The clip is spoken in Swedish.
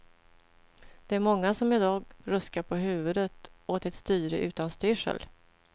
Det är många som i dag ruskar på huvudet åt ett styre utan styrsel.